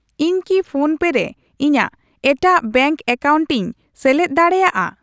ᱤᱧ ᱠᱤ ᱯᱷᱳᱱᱯᱮ ᱨᱮ ᱤᱧᱟᱜ ᱮᱴᱟᱜ ᱵᱮᱝᱠ ᱮᱠᱟᱣᱩᱱᱴᱤᱧ ᱥᱮᱞᱮᱫ ᱫᱟᱲᱮᱭᱟᱜᱼᱟ ?